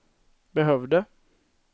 behövde